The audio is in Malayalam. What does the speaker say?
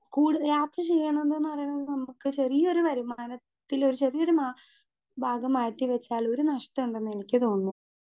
സ്പീക്കർ 2 കൂട് യാത്ര ചെയ്യ്ണത്ന്ന് പറയുന്നത് നമുക്ക് ചെറിയൊരു വരുമാനത്തില് ചെറിയൊരു മാ ഭാഗം മാറ്റി വെച്ചാല് ഒരു നഷ്ടണ്ടെന്നെനിക്ക് തോന്ന്.